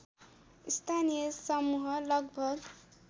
स्थानीय समूह लगभग